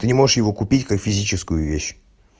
а не можешь его купить как физическую вещь